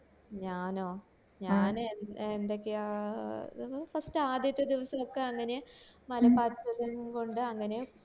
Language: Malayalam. ഞാനോ ഞാന് എന്തൊക്കെയാ ആ ത് first ആദ്യത്തെ ദിവസം ഒക്കെ അങ്ങനെ മല പാറ്റൽ കൊണ്ട് അങ്ങനെ